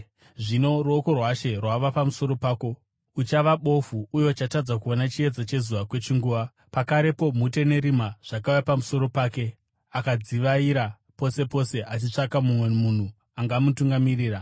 Zvino ruoko rwaShe rwava pamusoro pako. Uchava bofu, uye uchatadza kuona chiedza chezuva kwechinguva.” Pakarepo mhute nerima zvakauya pamusoro pake, akadzivaira pose pose achitsvaka mumwe munhu angamutungamirira.